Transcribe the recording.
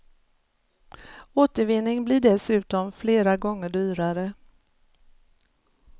Återvinning blir dessutom flera gånger dyrare.